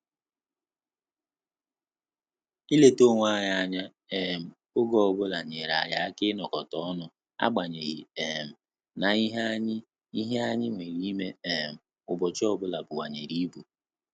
Ileta onwe anyị anya um oge ọbụla nyere anyị aka inokota ọnụ agbanyeghi um na ihe anyị ihe anyị nwere ime um ubochi ọ bụla bunwanyere ibu